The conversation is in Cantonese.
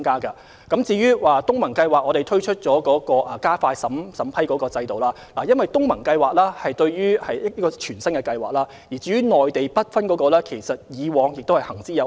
政府就東盟計劃推出加快審批的程序，因為這是一項全新的計劃，而 BUD 專項基金的內地計劃則一直行之有效。